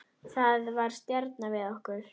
Það var stjanað við okkur.